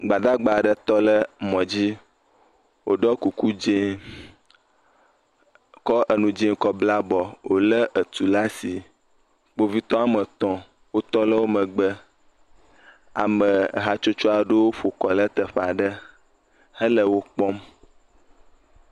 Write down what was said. Gbadagba aɖe tɔ ɖe mɔ dzi woɖo kuku dzie kɔ enu dzi kɔ ble abɔ wole etu ɖe asi. Kpovitɔ wɔme etɔ̃ wotɔ ɖe emegbe. Ame hatsotso aɖe ƒo kɔ ɖe teƒe aɖe hele wo kpɔm.